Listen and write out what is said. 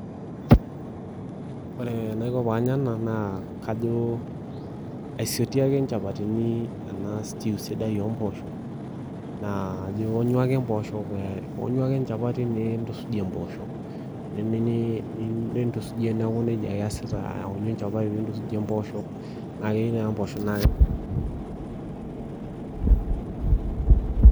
Ore enaiko panya ena naa kajo aisotie ake inchapatini ena stew sidai ompoosho, naa ionyu ake mpoosho ionyu ake enchapati nintusujie mpoosho. Nintusujie neeku nejia ake iasita aonyu enchapati nintusujie mpooshok, na keu naa mpoosho